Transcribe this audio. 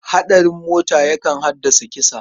Haɗarin mota yakan haddasa mutuwa.